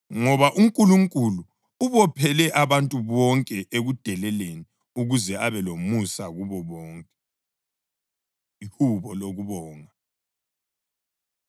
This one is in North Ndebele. Ngoba uNkulunkulu ubophele abantu bonke ekudeleleni ukuze abe lomusa kubo bonke. Ihubo Lokubonga